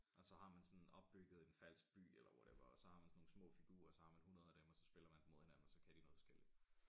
Og så har man sådan opbygget en falsk by eller whatever og så har man sådan nogle små figuerer og så har man 100 af dem og så spiller man dem mod hinanden og så kan de noget forskelligt